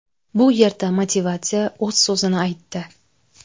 Bu yerda motivatsiya o‘z so‘zini aytdi.